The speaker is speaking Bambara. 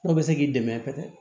Dɔw bɛ se k'i dɛmɛ kosɛbɛ